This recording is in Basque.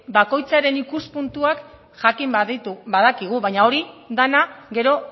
bakoitzaren ikuspuntuak jakin badakigu baina hori dena gero